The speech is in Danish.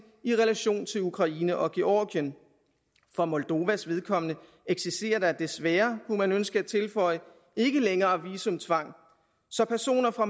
i relation til ukraine og georgien for moldovas vedkommende eksisterer der desværre kunne man ønske at tilføje ikke længere visumtvang så personer fra